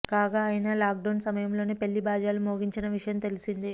కాగా ఆయన లాక్డౌన్ సమయంలోనే పెళ్లి బాజాలు మోగించిన విషయం తెలిసిందే